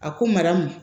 A ko mara ma